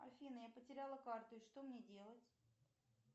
афина я потеряла карту и что мне делать